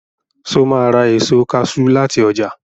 Sọ ma ra èso kaṣú láti ọjà?